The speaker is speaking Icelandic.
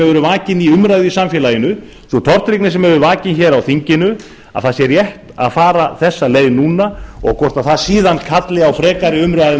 vakin hefur verið í samfélaginu og þeirrar tortryggni sem vakin hefur verið á þinginu sé rétt að fara þessa leið núna en hvort þetta kallar síðan á frekari umræðu um